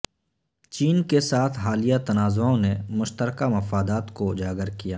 چین کے ساتھ حالیہ تنازعوں نے مشترکہ مفادات کو اجاگر کیا